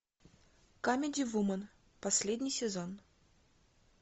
камеди вумен последний сезон